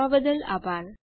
જોડાવા બદલ આભાર